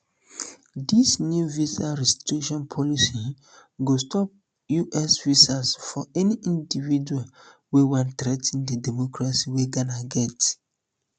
dis new visa restriction policy go stop um us visas for any individual wey wan threa ten di democracy wey ghana get